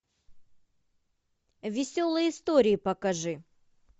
веселые истории покажи